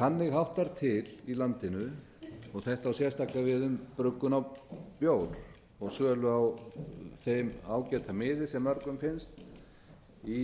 þannig háttar til í landinu og þetta á sérstaklega við um bruggun á bjór og sölu á þeim ágæta miði sem mörgum finnst í